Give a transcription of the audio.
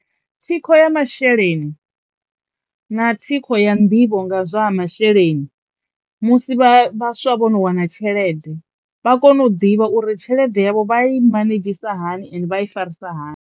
Thikho ya masheleni na thikho ya nḓivho nga zwa ha masheleni musi vha vhaswa vho no wana tshelede vha kono u ḓivha uri tshelede yavho vha i manedzhisa hani ende vha i farisa hani.